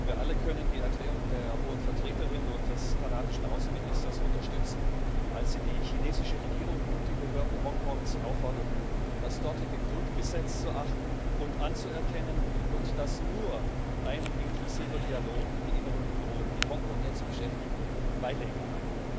Wir alle können die Erklärung der Hohen Vertreterin und des kanadischen Außenministers unterstützen, als sie die chinesische Regierung und die Behörden Hongkongs aufforderten, das dortige Grundgesetz zu achten und anzuerkennen, und dass nur ein inklusiver Dialog die inneren Unruhen, die Hongkong jetzt beschäftigen, beilegen kann.